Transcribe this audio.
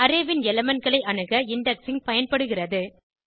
array ன் element களை அணுக இண்டெக்ஸிங் பயன்படுகிறது